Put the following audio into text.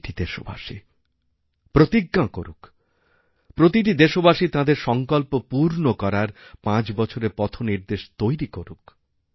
প্রতিটি দেশবাসীপ্রতিজ্ঞা করুক প্রতিটি দেশবাসী তাঁদের সংকল্প পূর্ণ করার পাঁচ বছরের পথনির্দেশতৈরি করুক